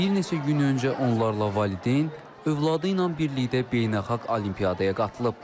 Bir neçə gün öncə onlarla valideyn övladı ilə birlikdə beynəlxalq olimpiyadaya qatılıb.